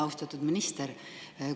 Austatud minister!